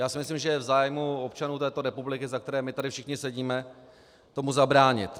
Já si myslím, že je v zájmu občanů této republiky, za které my tady všichni sedíme, tomu zabránit.